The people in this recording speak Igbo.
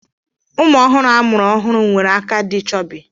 ụmụ ọhụrụ amụrụ ọhụrụ nwere aka dị chọbi